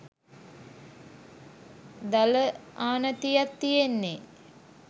දල ආනතියත් තියෙන්නේ.